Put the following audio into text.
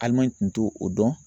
Alimaɲi tun t'o dɔn.